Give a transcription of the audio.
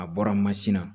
A bɔra mansin na